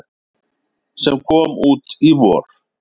sem kom út í vor.